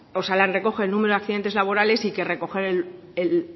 osalan recoge el número de accidentes laborales y que recoge